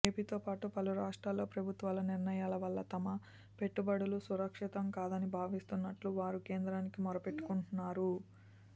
ఏపీతో పాటు పలు రాష్ట్రాల్లో ప్రభుత్వాల నిర్ణయాల వల్ల తమ పెట్టుబడులు సురక్షితం కాదని భావిస్తున్నట్లు వారు కేంద్రానికి మొరపెట్టుకున్నారు